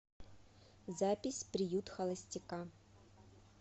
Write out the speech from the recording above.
запись приют холостяка